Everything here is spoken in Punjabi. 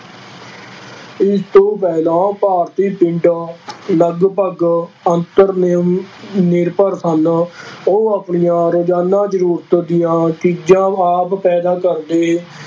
ਇਸ ਤੋਂ ਪਹਿਲਾਂ ਭਾਰਤੀ ਪਿੰਡਾਂ ਲਗਪਗ ਆਤਮ ਨਿ ਨਿਰਭਰ ਸਨ ਉਹ ਆਪਣੀਆਂ ਰੋਜ਼ਾਨਾ ਜ਼ਰੂਰਤ ਦੀਆਂ ਚੀਜ਼ਾਂ ਆਦਿ ਪੈਦਾ ਕਰਦੇ